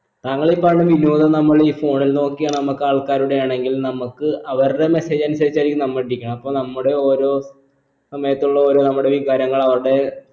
താണകൾ ഈ പറയുന്ന വിനോദം നമ്മളീ phone ൽ നോക്കിയാണോ നമ്മക്ക് ആൾക്കാരുടെയാണെങ്കിൽ നമ്മക്ക് അവരുടെ mesage അനുസരിച്ചായിരിക്കും നമ്മളിരിക്കണെ അപ്പൊ നമ്മുടെ ഓരോ സമയത്തുള്ള ഓരോ നമ്മുടെ വികാരങ്ങൾ അവരുടെ